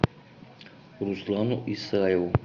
руслану исаеву